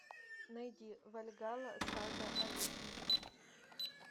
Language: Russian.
найди вальгалла сага о викинге